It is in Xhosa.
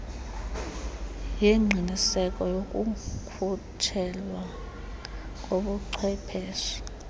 yengqiniseko yokukhutshelwa kobuchwephesha